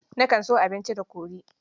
Nakan so abinci da kori.